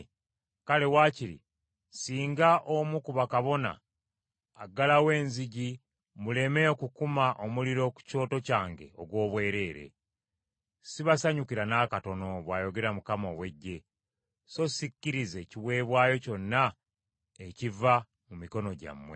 “Kale waakiri singa omu ku bakabona aggalawo enzigi muleme okukuma omuliro ku kyoto kyange ogw’obwereere! Sibasanyukira n’akatono,” bw’ayogera Mukama ow’Eggye, “so sikkirize kiweebwayo kyonna ekiva mu mikono gyammwe.